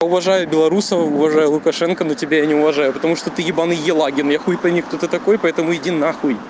уважаю белорусов уважаю лукашенко но тебя не уважаю потому что ты ебаный елагин я хуй пойми кто ты такой поэтому иди на хуй